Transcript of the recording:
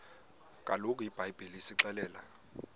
kaloku ibhayibhile isixelela